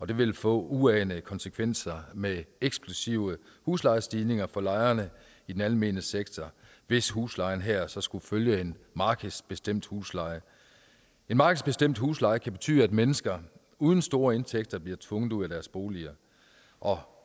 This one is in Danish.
det vil få uanede konsekvenser med eksplosive huslejestigninger for lejerne i den almene sektor hvis huslejen her så skulle følge en markedsbestemt husleje en markedsbestemt husleje kan betyde at mennesker uden store indtægter bliver tvunget ud af deres boliger og